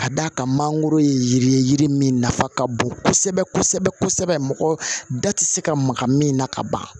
Ka d'a kan mangoro ye yiri ye yiri min nafa ka bon kosɛbɛ kosɛbɛ min na ka ban